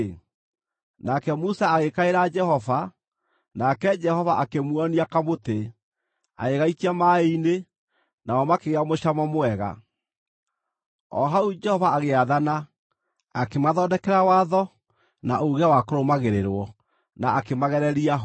Nake Musa agĩkaĩra Jehova, nake Jehova akĩmuonia kamũtĩ. Agĩgaikia maaĩ-inĩ, namo makĩgĩa mũcamo mwega. O hau Jehova agĩathana, akĩmathondekera watho na uuge wa kũrũmagĩrĩrwo, na akĩmagereria ho.